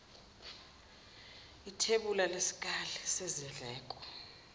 ithebula lesikali sezindleko